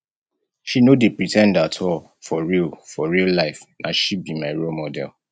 she no dey pre ten d at all for real for real life na she be my role model